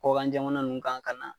Kɔkan jamana ninnu kan ka na